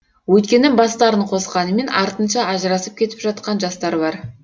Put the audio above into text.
өйткені бастарын қосқанымен артынша ажырасып кетіп жатқан жастар бар